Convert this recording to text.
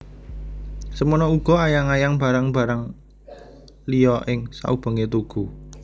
Semono uga ayang ayang barang barang liya ing saubengé tugu